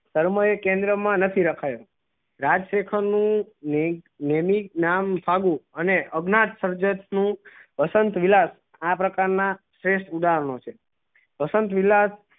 કેન્દ્ર માં નથી રખાયો રાજ લેખન નું નામ સામું અને સર્જન નું વસંત વિલા આ પ્રકાર ના શ્રેષ્ઠ ઉદાહરણો છે વસંત વિલા